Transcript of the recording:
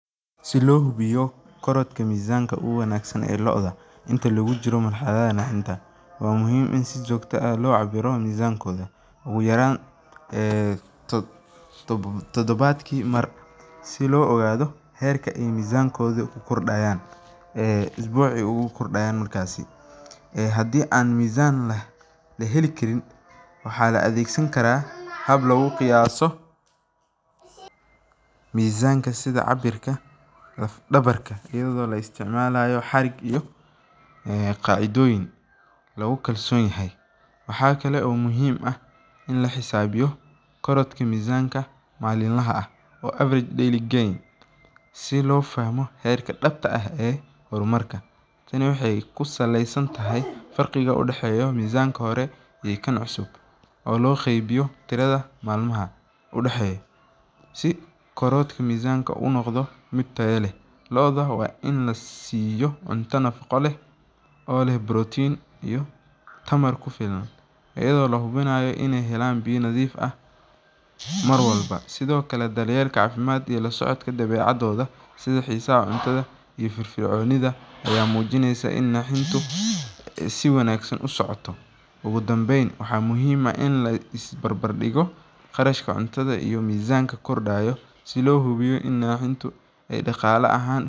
Si loo hubiyo korodka mizaanka, waa in lacabiro mizankooda, si loo ogaado heerka kordinka, waxaa laqiyaasa sida cabirka laf dabarka, waxaa muhiim ah in la xisaabo mizaanka malin laha ah, dabta ah ee hormarka, ee loo qeybiyo turda malimaha, ayado la hubinaaya inaay helaan biya nadiif ah, waxaa muhiim ah in la is barbar digo qarashka iyo naxinta.